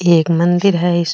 ये एक मंदिर है इस --